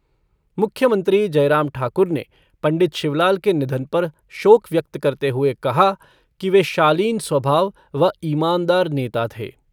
मुख्यमंत्री जयराम ठाकुर ने पंडित शिवलाल के निधन पर शोक व्यक्त करते हुए कहा कि वे शालीन स्वभाव व ईमानदार नेता थे।